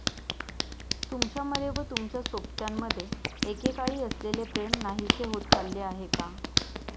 तुमच्यामध्ये व तुमच्या सोबत्यामध्ये एकेकाळी असलेले प्रेम नाहीसे होत चालले आहे का?